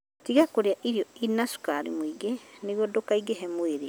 Tiga kũrĩa irio irĩ na cukari mũingĩ nĩguo ndũkaingĩhe mwĩrĩ.